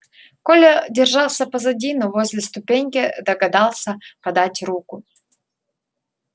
коля держался позади но возле ступеньки догадался подать руку